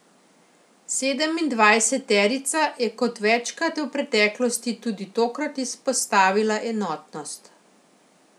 Sedemindvajseterica je kot večkrat v preteklosti tudi tokrat izpostavila enotnost.